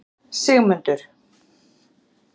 Sigmundur